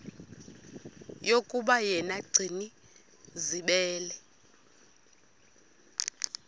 yokuba yena gcinizibele